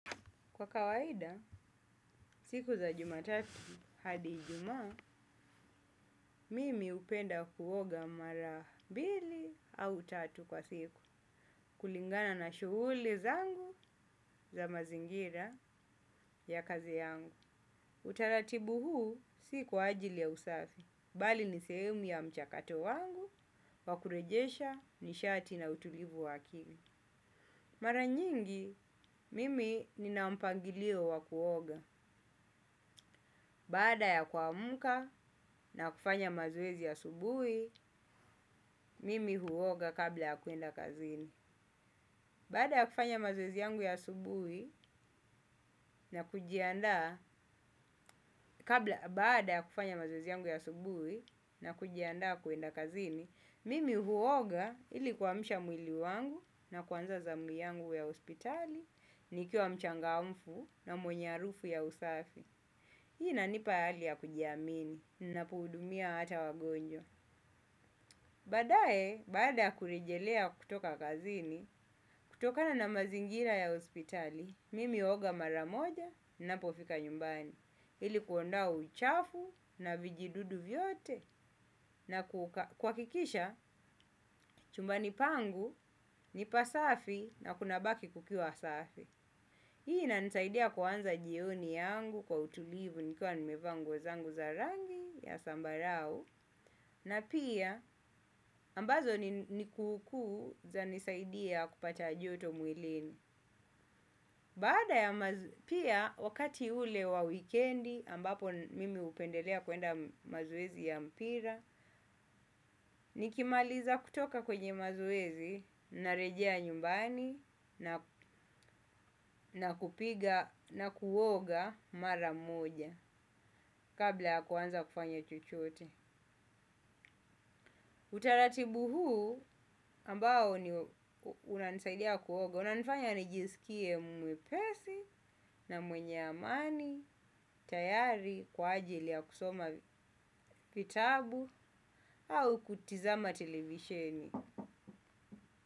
Kwa kawaida, siku za jumatatu hadi ijumaa, mimi hupenda kuoga mara mbili au tatu kwa siku. Kulingana na shughuli zangu za mazingira ya kazi yangu. Utaratibu huu si kwa ajili ya usafi. Bali n sehemu ya mchakato wangu, wakurejesha nishati na utulivu wakili. Mara nyingi, mimi nina mpangilio wakuoga. Baada ya kuamka na kufanya mazoezi ya asubuhi, mimi huoga kabla ya kwenda kazini. Baada ya kufanya mazoezi yangu ya asubuhi yangu ya subuhi na kujianda kwenda kazini mimi huoga ili kuamsha mwili wangu na kuanza zamu yangu ya hospitali. Nikiwa mchangamfu na mwenye harufu ya usafi. Hii inanipa hali ya kujiamini ninapohudumia hata wagonjwa. Baadaye, baada ya kuejelea kutoka kazini, kutokana na mazingira ya hospitali, mimi hulga mara moja ninapofika nyumbani. Ili kuondoa uchafu na vijidudu vyote na kuhakikisha chumbani pangu, nipasafi na kunabaki kukiwa asafi. Hii inanisaidia kuanza jioni yangu kwa utulivu nikiwa nimevaa nguo zangu za rangi ya sambarau na pia ambazo ni kukuu zanisaidia kupata joto mwilini. Pia wakati ule wa wikendi ambapo mimi hupendelea kwenda mazoezi ya mpira. Nikimaliza kutoka kwenye mazoezi narejea nyumbani nakupika nakuoga mara moja. Kabla ya kuanza kufanya chochote utaratibu huu ambao unanisaidia kuoga. Unanifanya nijisikie mwepesi na mwenye amani, tayari, kwa ajili ya kusoma vitabu au kutizama televisioni.